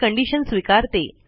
हे कंडिशन स्वीकरते